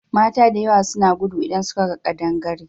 Mata da yawa suna gudu idan suka ga ƙadangare.